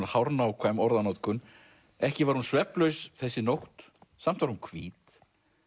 hárnákvæm orðanotkun ekki var hún svefnlaus þessi nótt samt var hún hvít